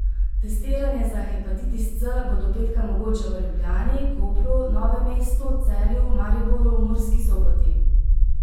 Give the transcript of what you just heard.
Testiranje za hepatitis C bo do petka mogoče v Ljubljani, Kopru, Novem mestu, Celju, Mariboru, Murski Soboti.